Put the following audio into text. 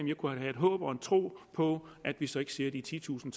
jeg kunne have et håb og en tro på at vi så ikke ser de titusind